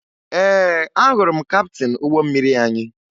Ee, ahụrụ m kaptịn ụgbọ mmiri anyị